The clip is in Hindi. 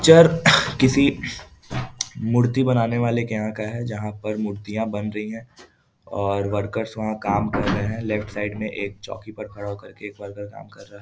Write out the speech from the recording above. चर किसी मूर्ति बनाने वाले के यहाँ का है जहाँ पर मूर्तियाँ बन रही हैं और वर्कर्स वहाँ काम कर रहे हैं लेफ्ट साइड में एक चौकी पर खड़ा होकर के एक वर्कर काम कर रहा --